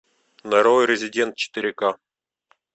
нарой резидент четыре ка